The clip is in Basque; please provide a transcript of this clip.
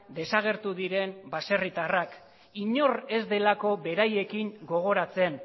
desagertu diren baserritarrak inor ez delako beraiekin gogoratzen